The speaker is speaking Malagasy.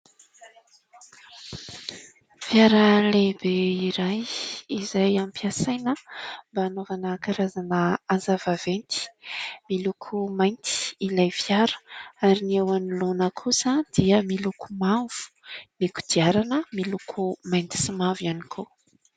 Fiara lehibe iray izay ampiasaina mba anaovana karazana asa vaventy :miloko mainty ilay fiara ary ny eo anoloana kosa dia miloko mavo, ny kodiarana miloko mainty sy mavo ihany koa.